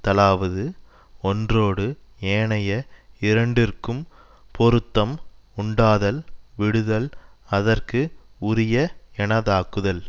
தலாவது ஒன்றோடு ஏனைய இரண்டிற்கும் பொருத்தம் உண்டாதல் விடுதல் அதற்கு உரிய எனதாக்குதல்